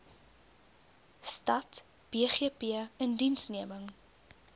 stad bgp indiensneming